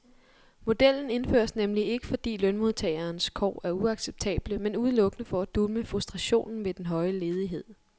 Modellen indføres nemlig ikke, fordi lønmodtagerens kår er uacceptable, men udelukkende for at dulme frustrationen ved den høje ledighed.